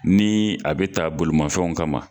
Ni a be ta bolomafɛnw kama